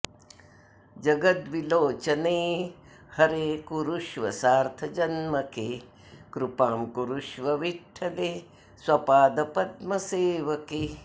जगद्विलोचने हरे कुरुष्व सार्थजन्मके कृपां कुरुष्व विठ्ठले स्वपादपद्मसेवके